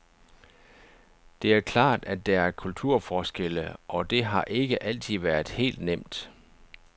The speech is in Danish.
Det er klart, at der er kulturforskelle, og det har ikke altid været helt nemt.